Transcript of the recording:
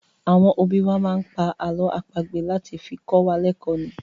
Àwọn òbí wá máa ń pá àlọ́ àpagbè láti fi kọ́ wa lẹkò ni.